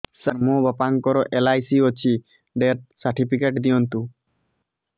ସାର ମୋର ବାପା ଙ୍କର ଏଲ.ଆଇ.ସି ଅଛି ଡେଥ ସର୍ଟିଫିକେଟ ଦିଅନ୍ତୁ